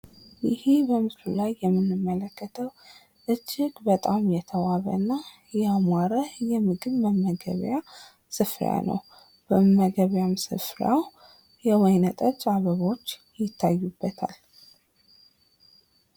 እሂ በምስሉ ላይ የምንመለከተው እጅግ የተዋበ እና ያማረ የምግብ መመገቢያ ስፍራ ነው። በመመገቢያውም ስፍራ የወይነ ጠጅ አበቦች ይታዩበታል።